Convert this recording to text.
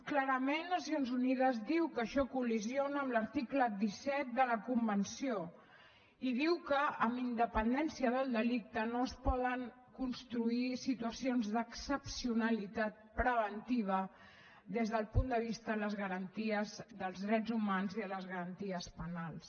clarament nacions unides diu que això collideix amb l’article disset de la convenció i diu que amb independència del delicte no es poden construir situacions d’excepcionalitat preventiva des del punt de vista de les garanties dels drets humans i de les garanties penals